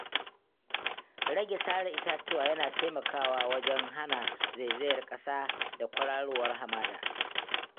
Rage sare itatuwa yana taimakawa wajen hana zaizayar ƙasa da kwararowar hamada.